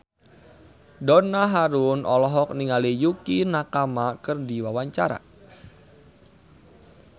Donna Harun olohok ningali Yukie Nakama keur diwawancara